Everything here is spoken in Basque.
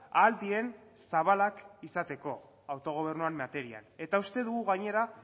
ahal diren zabalak izateko autogobernuen materiak eta uste dugu gainera